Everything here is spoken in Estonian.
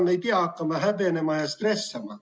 Me ei pea hakkama häbenema ja stressama.